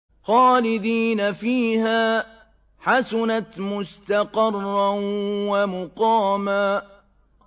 خَالِدِينَ فِيهَا ۚ حَسُنَتْ مُسْتَقَرًّا وَمُقَامًا